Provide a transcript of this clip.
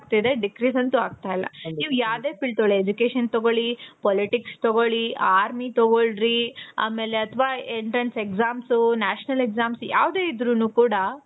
ಆಗ್ತಿದೆ. decrease ಅಂತು ಆಗ್ತಾ ಇಲ್ಲ. ನೀವು ಯಾವ್ದೇ field ತಗೊಳಿ, education ತಗೊಳಿ, politics ತಗೊಳಿ, army ತಗೊಳಿ, entrance exams, national exams ಯಾವ್ದೇ ಇದ್ರು ಕೂಡ